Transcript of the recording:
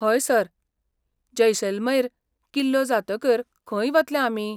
हय, सर, जैसलमेर किल्लो जातकीर खंय वतले आमी?